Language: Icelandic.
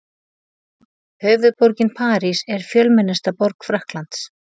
Höfuðborgin París er fjölmennasta borg Frakklands.